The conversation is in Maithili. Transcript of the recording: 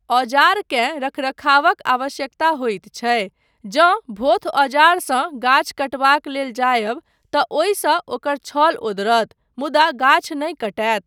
औजारकेँ रखरखावक आवश्यकता होइत छै, जँ भोथ औजारसँ गाछ कटबाक लेल जायब तँ ओहिसँ ओकर छल ओदरत, मुदा गाछ नहि कटैत।